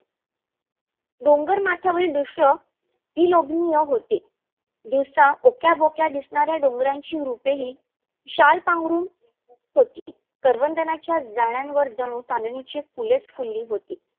डोंगर माथ्यावरील दृश्य विलोभनीय होते. दिवसा ओक्या बोक्या दिसनाऱ्या डोंगराची रूपे ही शाल पांघरून होती. करवंदाच्या झाडावर जनु चांदण्याची फुलेच फुलली होती.